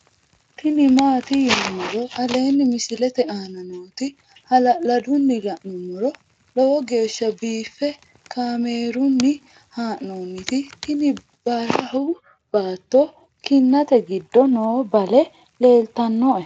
tini maati yinummoro aleenni misilete aana nooti hala'ladunni la'nummoro lowo geeshsha biiffe kaamerunni haa'nooniti tini barahu baattora kinnate giddo noo bale leeltannoe